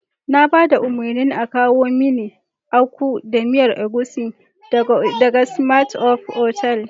Na ba da umarnin a kawo mini Akpu da miyar agushi daga Climax otal.